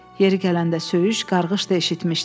Yeri gələndə söyüş, qarğış da eşitmişdi.